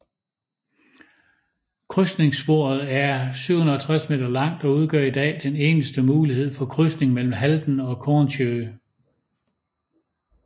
Krydsningssporet er 760 meter langt og udgør i dag den eneste mulighed for krydsning mellem Halden og Kornsjø